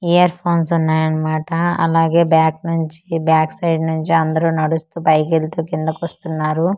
Ear phones వున్నాయన్న మాటా అలాగే బ్యాక్ నుంచి బ్యాక్ సైడ్ నుంచి అందరూ నడుస్తూ పైకెళ్తూ కిందకొస్తున్నారు .]